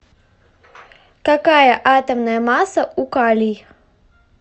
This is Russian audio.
какая атомная масса у калий